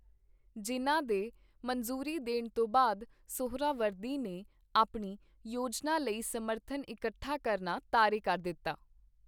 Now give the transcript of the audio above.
ਜਿੰਨਾ ਦੇ ਮਨਜ਼ੂਰੀ ਦੇਣ ਤੋਂ ਬਾਅਦ, ਸੁਹਰਾਵਰਦੀ ਨੇ ਆਪਣੀ ਯੋਜਨਾ ਲਈ ਸਮਰਥਨ ਇਕੱਠਾ ਕਰਨਾ ਤਾਰੇ ਕਰ ਦਿੱਤਾ।